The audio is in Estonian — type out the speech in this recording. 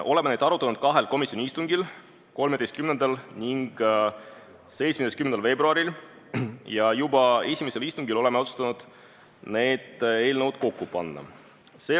Oleme neid arutanud kahel komisjoni istungil, 13. ja 17. veebruaril ning juba esimesel istungil otsustasime need eelnõud kokku panna.